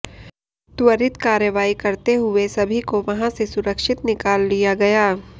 त्वरित कार्रवाई करते हुए सभी को वहां से सुरक्षित निकाल लिया गया